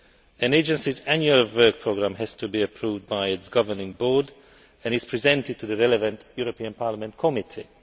An agency's annual work programme has to be approved by its governing board, and is presented to the relevant European Parliament committee.